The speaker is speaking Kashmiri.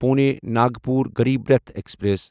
پُونے ناگپور غریٖب راٹھ ایکسپریس